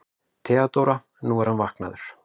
THEODÓRA: Nú, hann er vaknaður.